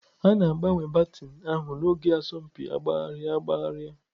A na-agbanwe baton ahụ n'oge asọmpi agbagharị agbagharị.